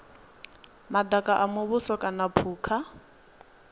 madaka a muvhuso kana phukha